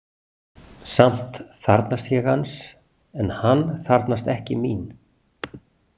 Samt þarfnast ég hans en hann þarfnast ekki mín.